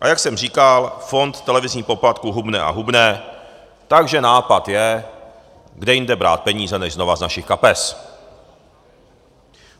A jak jsem říkal, fond televizních poplatků hubne a hubne, takže nápad je, kde jinde brát peníze než znova z našich kapes.